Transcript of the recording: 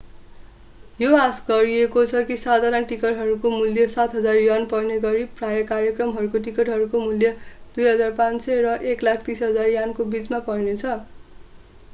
यो आशा गरिएको छ कि साधारण टिकटहरूको मूल्य ¥7,000 पर्नेगरि प्रायः कार्यक्रमका टिकटहरूको मूल्य ¥2,500 र ¥130,000 को बिचमा पर्नेछ